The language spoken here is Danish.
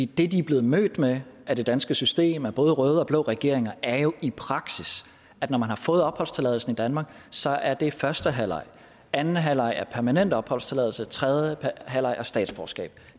det de er blevet mødt med af det danske system både af røde og af blå regeringer er jo i praksis at når man har fået opholdstilladelsen i danmark så er det første halvleg anden halvleg er permanent opholdstilladelse og tredje halvleg er statsborgerskab